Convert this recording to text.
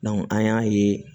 an y'a ye